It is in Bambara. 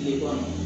Yiriwa